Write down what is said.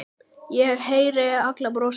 Ég heyri hann brosa.